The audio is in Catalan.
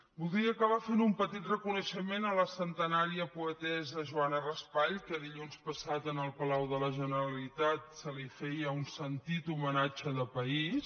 voldria acabar fent un petit reconeixement a la centenària poetessa joana raspall que dilluns passat en el palau de la generalitat se li feia un sentit homenatge de país